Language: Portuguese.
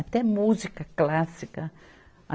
Até música clássica.